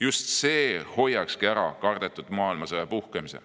Just see hoiakski ära kardetud maailmasõja puhkemise.